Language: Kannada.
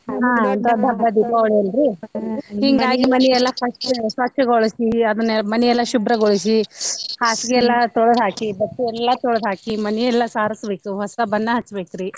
ಹಾ ದೊಡ್ಡ ಹಬ್ಬಾ ದೀಪಾವಳಿ ಅಲ್ರೀ ಹಿಂಗಾಗಿ ಮನಿ ಎಲ್ಲಾ first ಸ್ವಚ್ಚ ಗೊಳಿಸಿ ಅದನ್ನ ಮನೆಯೆಲ್ಲ ಶುಬ್ರಗೊಳಿಸಿ ಹಾಸ್ಗಿ ಎಲ್ಲಾ ತೋಳ್ದ ಹಾಕಿ ಬಟ್ಟಿ ಎಲ್ಲಾ ತೋಳ್ದ ಹಾಕಿ ಮನಿ ಎಲ್ಲಾ ಸಾರಸ್ಬೇಕು ಹೊಸಾ ಬಣ್ಣಾ ಹಚ್ಚಬೇಕ್ರಿ.